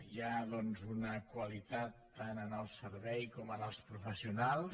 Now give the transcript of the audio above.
hi ha doncs una qualitat tant en el servei com en els professionals